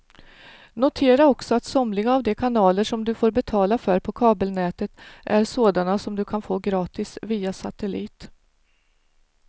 Notera också att somliga av de kanaler som du får betala för på kabelnätet är sådana som du kan få gratis via satellit.